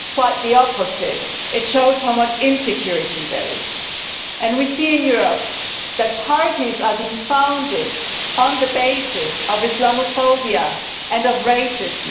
Quite the opposite it shows how much insecurity there is. We see in Europe that parties are being founded on the basis of Islamophobia and of racism.